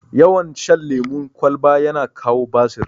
Yawan shan lemun kwalba yana kawo basir